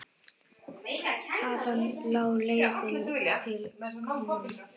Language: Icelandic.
Þaðan lá leiðin til KRON.